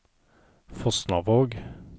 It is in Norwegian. Fosnavåg